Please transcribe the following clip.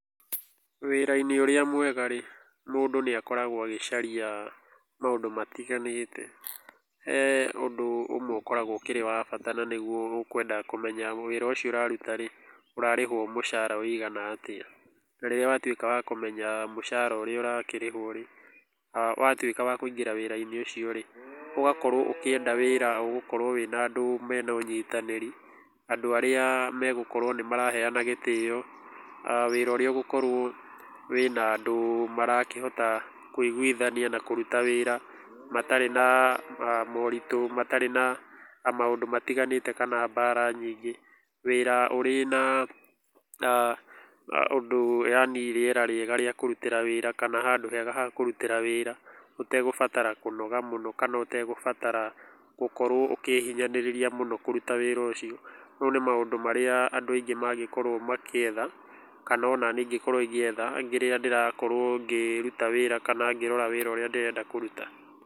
Wĩra-inĩ ũrĩa mwega rĩ, mũndũ nĩ akoragwo agĩcaria maũndũ matiganĩte. He ũndũ ũmwe ũkoragwo ũkĩrĩ wa bata na nĩguo ũkwenda kũmenya wĩra ũcio ũraruta rĩ, ũrarĩhwo mũcara ũigana atĩa. Na rĩrĩa watuĩka wa kũmenya mũcara ũrĩa ũrakĩrĩhwo rĩ, watuĩka wa kũingĩra wĩra-inĩ ũcio rĩ, ũgakorwo ũkĩenda wĩra ũgũkorwo wĩna andũ mena ũnyitanĩri, andũ arĩa megũkorwo nĩ maraheana gĩtĩo, wĩra ũrĩa ũgũkorwo wĩna andũ marakĩhota kũiguithania matarĩ na moritũ, matarĩ na maũndũ matiganĩte kana mbara nyingĩ. Wĩra ũrĩ na ũndũ yaani rĩera rĩega kana handũ hega ha kũrutĩra wĩra, ũtegũbatara kũnoga mũno kana ũtegũbatara gũkorwo ũkĩhinyanĩrĩria mũno kũruta wĩra ũcio. Mau nĩ maũndũ marĩa andũ aingĩ mangĩkorwo magĩetha kana ona niĩ ingĩkorwo ngĩetha rĩrĩa ndĩrakorwo ngĩruta wĩra kana ngĩrora wĩra ũrĩa ndĩrenda kũruta.